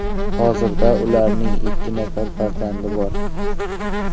Hozirda ularning ikki nafar farzandi bor.